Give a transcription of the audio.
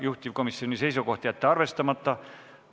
Juhtivkomisjoni seisukoht: jätta arvestamata.